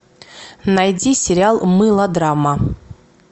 найди сериал мылодрама